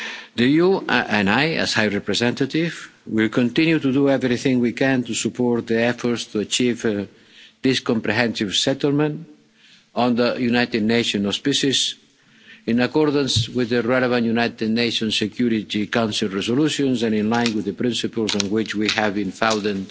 The EU and I, as High Representative, will continue to do everything we can to support the efforts to achieve this comprehensive settlement under United Nations auspices, in accordance with the relevant United Nations Security Council resolutions and in line with the principles on which we have founded